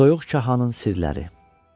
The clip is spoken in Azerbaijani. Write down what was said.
Soyuq kahanın sirləri.